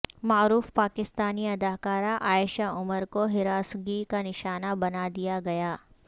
معروف پاکستانی اداکارہ عائشہ عمر کو ہراسگی کا نشانہ بنا دیا گیا